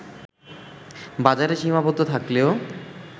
বাজারে সীমাবদ্ধ থাকলেও